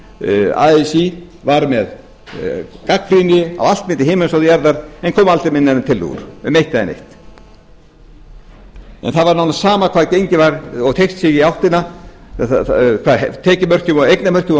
vorum með hérna í haust þegar así gagnrýndi allt milli himins og jarðar en kom aldrei með neinar tillögur um eitt eða neitt það var nánast sama hvað gengið var og teygt sig í áttina hvað tekju og eignamörkin voru